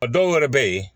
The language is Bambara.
A dɔw yɛrɛ bɛ ye